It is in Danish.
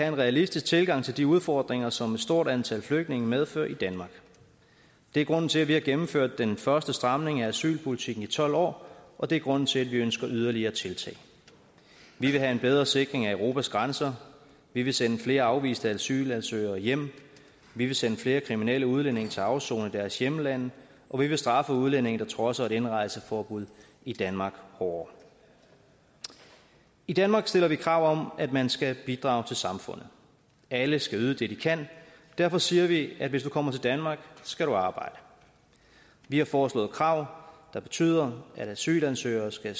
en realistisk tilgang til de udfordringer som et stort antal flygtninge medfører i danmark det er grunden til at vi har gennemført den første stramning af asylpolitikken i tolv år og det er grunden til at vi ønsker yderligere tiltag vi vil have en bedre sikring af europas grænser vi vil sende flere afviste asylansøgere hjem vi vil sende flere kriminelle udlændinge til afsoning i deres hjemlande og vi vil straffe udlændinge der trodser et indrejseforbud i danmark hårdere i danmark stiller vi krav om at man skal bidrage til samfundet alle skal yde det de kan derfor siger vi at hvis du kommer til danmark skal du arbejde vi har foreslået krav der betyder at asylansøgere skal